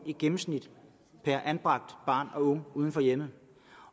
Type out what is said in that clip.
i gennemsnit per anbragt barn og ung uden for hjemmet